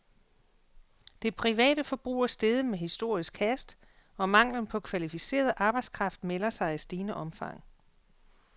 Det private forbrug er steget med historisk hast, og manglen på kvalificeret arbejdskraft melder sig i stigende omfang.